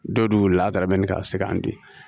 Don dun lamɛnni ka se kan di